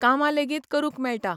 कामां लेगीत करूंक मेळटा.